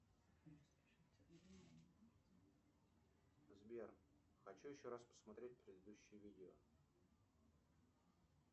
сбер хочу еще раз посмотреть предыдущее видео